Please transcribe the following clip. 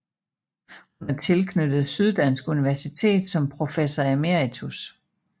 Hun er tilknyttet Syddansk Universitet som professor emeritus